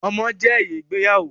Ọmọ je èrè ìgbéyàwó